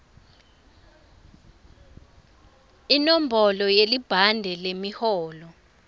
inombolo yelibhande lemiholo